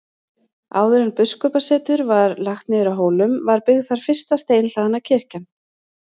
Áður en biskupssetur var lagt niður á Hólum var byggð þar fyrsta steinhlaðna kirkjan.